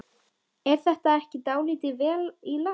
Er þetta ekki dálítið vel í lagt?